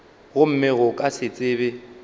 gomme go ka se tsebe